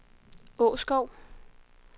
Åskov